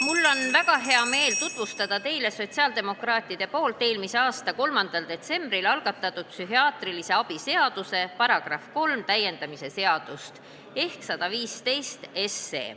Mul on väga hea meel tutvustada teile sotsiaaldemokraatide poolt eelmise aasta 3. detsembril algatatud psühhiaatrilise abi seaduse § 3 täiendamise seadust ehk eelnõu 115.